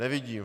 Nevidím.